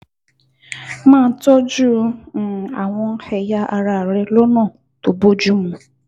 Máa tọ́jú um àwọn ẹ̀yà ara rẹ rẹ lọ́nà tó bójú mu